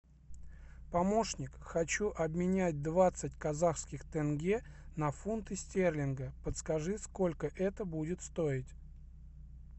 помощник хочу обменять двадцать казахских тенге на фунты стерлинга подскажи сколько это будет стоить